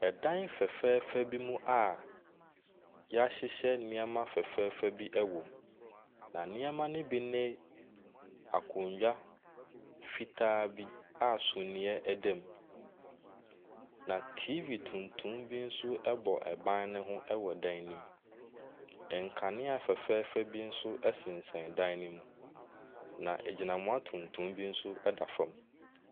Ɛdan fɛfɛɛfɛ bi mu a wɔahyehyɛ nneɛma fɛfɛɛfɛ bi wom, na nneɛma no bi ne akonnwa fitaa bi a sumiiɛ da mu, na TV tuntum bi nso bɔ ban no ho wɔ dan no mu. Nkaneɛ afɛɛfɛɛ bi nso sɛnsɛn dan no mu, na agyinamoa tuntum bi nso fa fam.